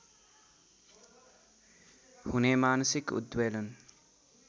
हुने मानसिक उद्वेलन